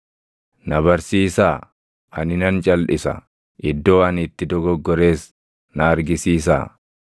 “Na barsiisaa; ani nan calʼisa; iddoo ani itti dogoggores na argisiisaa.